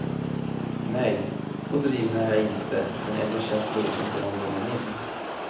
Nej, så driven är jag inte men ändå känns låten som om den är min.